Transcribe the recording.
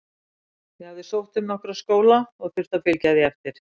Ég hafði sótt um nokkra skóla og þurfti að fylgja því eftir.